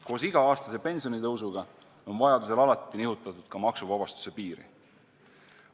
Koos iga-aastase pensionitõusuga on vajaduse korral alati nihutatud ka maksuvabastuse piiri.